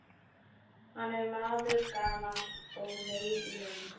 Hann er maður gamall og meyr í lund.